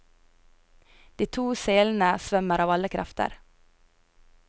De to selene svømmer av alle krefter.